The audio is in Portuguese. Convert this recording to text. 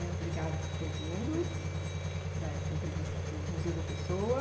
Obrigada por ter vindo dar essa entrevista para o Museu da Pessoa.